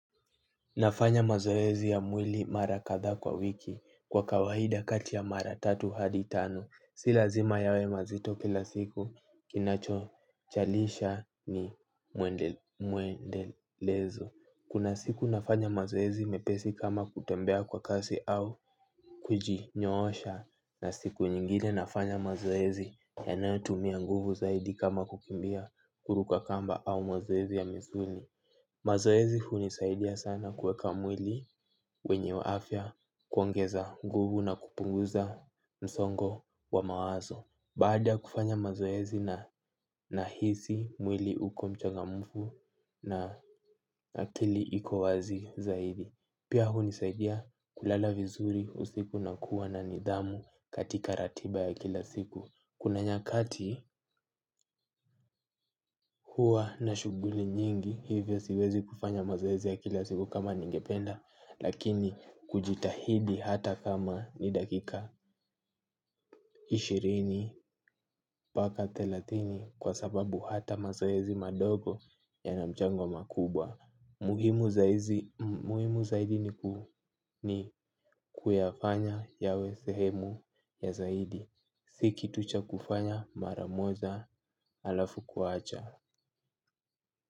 Nafanya mazoezi ya mwili mara kadha kwa wiki kwa kawaida kati ya mara tatu hadi tanu. Si lazima yawe mazito kila siku kinacho chalisha ni muendelezo. Kuna siku nafanya mazoezi mepesi kama kutembea kwa kasi au kujinyoosha. Na siku nyingine nafanya mazoezi yanayo tumia nguvu zaidi kama kukimbia kuruka kamba au mazoezi ya misuli. Mazoezi hunisaidia sana kueka mwili wenye wa afya kuongeza nguvu na kupunguza msongo wa mawazo. Baada kufanya mazoezi na nahisi mwili uko mchangamufu na akili iko wazi zaidi. Pia hunisaidia kulala vizuri usiku na kuwa na nidhamu katika ratiba ya kila siku. Kuna nyakati huwa na shuguli nyingi hivyo siwezi kufanya mazoezi ya kila siku kama ningependa lakini kujitahidi hata kama ni dakika ishirini mpaka thelathini kwa sababu hata mazoezi madogo yanamchango makubwa. Muhimu zaidi ni kuyafanya yawe sehemu ya zaidi. Si kitu cha kufanya mara moja alafu kuacha.